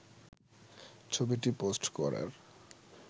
ছবিটি পোস্ট করার